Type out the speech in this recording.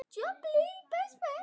Það hefði bætt þetta mikið.